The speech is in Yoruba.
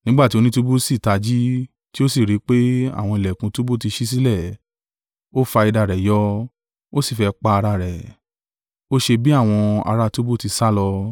Nígbà tí onítúbú si tají, tí o sì ri pé, àwọn ìlẹ̀kùn túbú tí ṣí sílẹ̀, ó fa idà rẹ̀ yọ, ó sì fẹ́ pa ara rẹ̀, ó ṣe bí àwọn ara túbú ti sálọ.